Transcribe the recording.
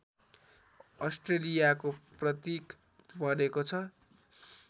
अस्ट्रेलियाको प्रतीक बनेको छ